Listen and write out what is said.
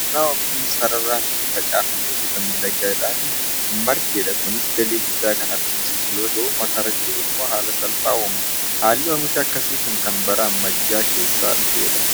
Lafa qonnaa oomishni sararaan itti facaafamee bifa miidhagaadhaan margedha. Kunis galii guddaa kan argamsiisu yeroo ta'u makarachuuf immoo haala salphaa uuma. Haalli oomishaa akkasii kun kan bara ammayyaa keessa dhufedha.